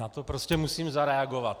Na to prostě musím zareagovat.